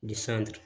Ni san